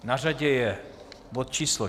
Na řadě je bod číslo